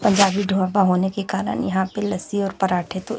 पंजाबी ढोबा होने के कारण यहां पे लस्सी और पराठे तो--